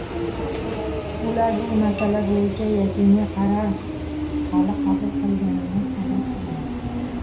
ular bu masala bo‘yicha yakuniy qaror hali qabul qilinmaganini xabar qilgan.